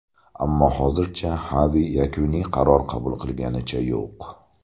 Ammo hozircha Xavi yakuniy qaror qabul qilganicha yo‘q.